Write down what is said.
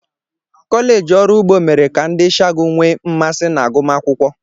Colleegi Ọrụ ugbo mere ka ndị ishiagu nwee mmasị na agụmakwụkwọ.